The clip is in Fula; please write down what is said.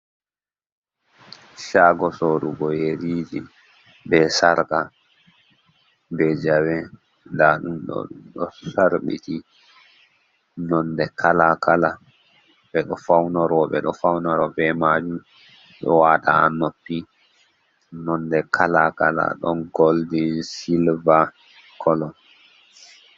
Shago sorugo yeriji, be sarqa, be jawe, nda ɗum ɗo ɗo sarbiti nonde kala kala ɓeɗo faunoro, ɓeɗo faunoro be majun ɗo wada an noppi nonde kala kala ɗon goldin silva kolo.